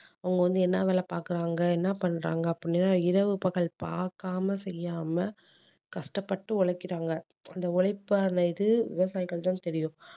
அவங்க வந்து என்ன வேலை பாக்குறாங்க என்ன பண்றாங்க அப்படீன்னா இரவு பகல் பார்க்காம செய்யாம கஷ்டப்பட்டு உழைக்கிறாங்க அந்த உழைப்பான இது விவசாயிகளுக்கு தான் தெரியும்